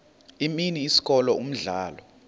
imini isikolo umdlalo